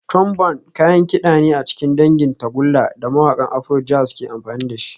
Trombone kayan kida ne a cikin dangin tagulla da mawakan Afrojazz ke amfani da shi